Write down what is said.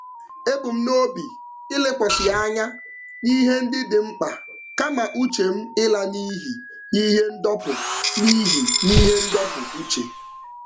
Ebu m n'obi ịlekwasị anya n'ihe ndị dị mkpa kama uche m ịla n'iyi n'ihe ndọpụ n'iyi n'ihe ndọpụ uche.